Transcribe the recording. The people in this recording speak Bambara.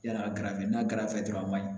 Yala a garfe n'a garɛfɛ dɔrɔn a man ɲi